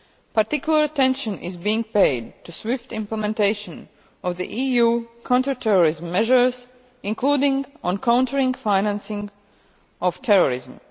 Particular attention is being paid to the swift implementation of the EU counter terrorism measures, including on countering the financing of terrorism.